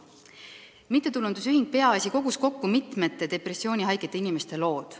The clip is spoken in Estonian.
Mittetulundusühing Peaasi on kokku kogunud depressioonihaigete inimeste lugusid.